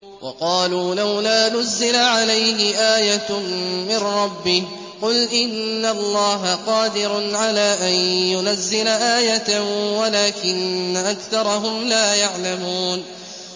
وَقَالُوا لَوْلَا نُزِّلَ عَلَيْهِ آيَةٌ مِّن رَّبِّهِ ۚ قُلْ إِنَّ اللَّهَ قَادِرٌ عَلَىٰ أَن يُنَزِّلَ آيَةً وَلَٰكِنَّ أَكْثَرَهُمْ لَا يَعْلَمُونَ